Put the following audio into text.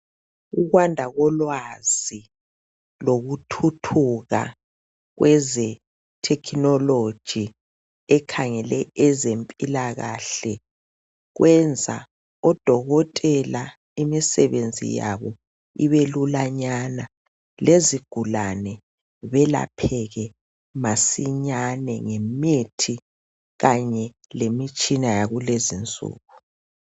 Ukwanda kolwazi lokuthuthuka kweze technology ekhangele ezempilakahle kwenza odokotela imisebenzi yabo ibelulanyana, lezigulane belapheke masinyane ngemithi kanye lemitshina yakulezinsuku.